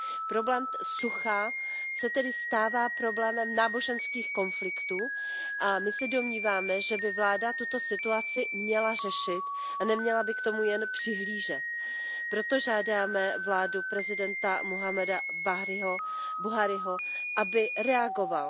Problém sucha se tedy stává problémem náboženských konfliktů a my se domníváme, že by vláda tuto situaci měla řešit a neměla by k tomu jen přihlížet. Proto žádáme vládu prezidenta Muhammada Buhriho, aby reagovala.